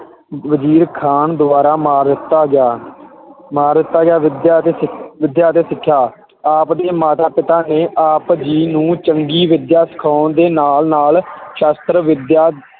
ਵਜ਼ੀਰ ਖਾਨ ਦੁਆਰਾ ਮਾਰ ਦਿੱਤਾ ਗਿਆ ਮਾਰ ਦਿੱਤਾ ਗਿਆ, ਵਿਦਿਆ ਅਤੇ ਸਿੱਖ~ ਵਿਦਿਆ ਅਤੇ ਸਿੱਖਿਆ ਆਪ ਦੇ ਮਾਤਾ ਪਿਤਾ ਨੇ ਆਪ ਜੀ ਨੂੰ ਚੰਗੀ ਵਿਦਿਆ ਸਿਖਾਉਣ ਦੇ ਨਾਲ ਨਾਲ ਸ਼ਸਤ੍ਰ ਵਿਦਿਆ